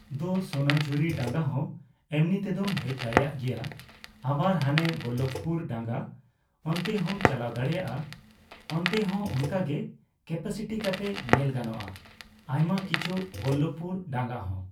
ᱫᱚ ᱥᱚᱱᱟᱡᱷᱩᱨᱤ ᱰᱟᱸᱜᱟ ᱦᱚᱸ ᱮᱢᱱᱤ ᱛᱮᱫᱚᱢ ᱦᱮᱡ ᱫᱟᱲᱮᱣᱟᱜ ᱜᱮᱭᱟ᱾ ᱟᱵᱟᱨ ᱦᱟᱱᱮ ᱵᱚᱞᱞᱚᱵᱷᱯᱩᱨ ᱰᱟᱸᱜᱟ ᱚᱱᱛᱮ ᱦᱚᱸᱢ ᱪᱟᱞᱟᱣ ᱫᱟᱲᱮᱭᱟᱜᱼᱟ ᱾ ᱚᱱᱛᱮ ᱦᱚᱸ ᱚᱱᱠᱟ ᱜᱮ ᱠᱮᱯᱟᱥᱤᱴᱤ ᱠᱟᱛᱮ ᱧᱮᱞ ᱜᱟᱱᱚᱜᱼᱟ ᱾ ᱟᱭᱢᱟ ᱠᱤᱪᱷᱩ, ᱵᱚᱞᱞᱚᱵᱷᱯᱩᱨ ᱰᱟᱸᱜᱟ ᱦᱚᱸ